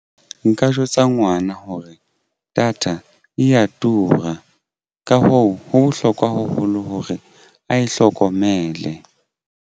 Nka jwetsa ngwana hore data eya tura. Ka hoo, ho bohlokwa haholo hore a hlokomele.